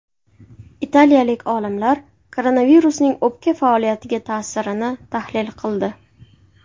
Italiyalik olimlar koronavirusning o‘pka faoliyatiga ta’sirini tahlil qildi.